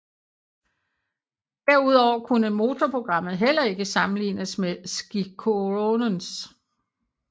Derudover kunne motorprogrammet heller ikke sammenlignes med Sciroccoens